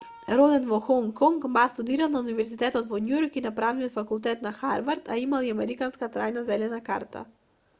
роден во хонг конг ма студирал на универзитетот во њујорк и на правниот факултет на харвард а имал и американска трајна зелена карта